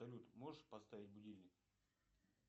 салют можешь поставить будильник